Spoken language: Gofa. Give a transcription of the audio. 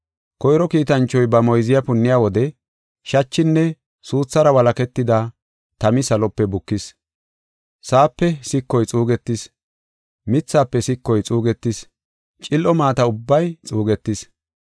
Koyro kiitanchoy ba moyziya punniya wode shachinne suuthara walaketida tami salope bukis. Sa7aape sikoy xuugetis; mithafe sikoy xuugetis; cil7o maata ubbay xuugetis.